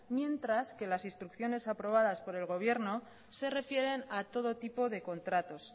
mientras que las instrucciones aprobadas por el gobierno se refieren a todo tipo de contratos